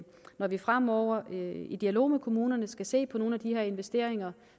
når vi fremover i dialog med kommunerne skal se på nogle af de her investeringer